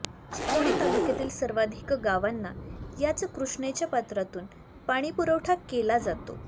चिकोडी तालुक्यातील सर्वाधिक गावांना याच कृष्णेच्या पात्रातून पाणी पुरवठा केला जातो